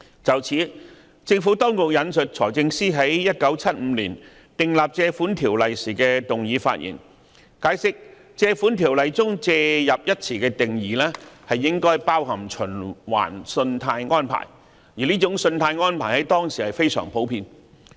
就此，政府當局引述財政司在1975年訂立《條例》時的動議發言，解釋《條例》中"借入"一詞的定義應包含"循環信貸安排"，而這種信貸安排在當時非常普遍。